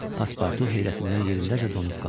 Paspartu heyrətindən yerindəcə donub qaldı.